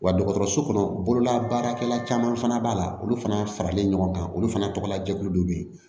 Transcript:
Wa dɔgɔtɔrɔso kɔnɔ bololabaarakɛla caman fana b'a la olu fana faralen ɲɔgɔn kan olu fana tɔgɔla jɛkulu dɔ bɛ yen